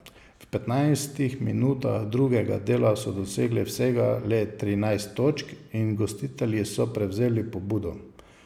V petnajstih minutah drugega dela so dosegli vsega le trinajst točk in gostitelji so prevzeli pobudo.